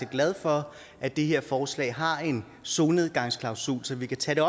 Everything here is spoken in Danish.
glad for at det her forslag har en solnedgangsklausul så vi kan tage